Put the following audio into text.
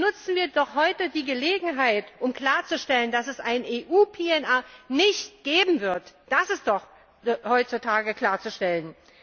Nutzen wir doch heute die Gelegenheit, um klarzustellen, dass es ein EU PNR Abkommen nicht geben wird, das ist doch heutzutage klarzustellen.